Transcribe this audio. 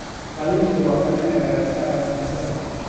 Qalliinku waa qalliin lagaga saarayo kansarka.